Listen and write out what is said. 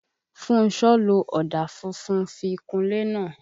Fúnṣọ́ lo ọ̀dà funfun fi kunlé náà.